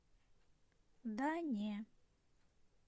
да не